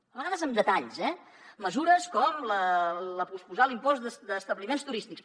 a vegades amb detalls eh mesures com posposar l’impost d’establiments turístics